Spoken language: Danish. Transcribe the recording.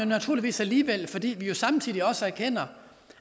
naturligvis alligevel fordi vi jo samtidig også erkender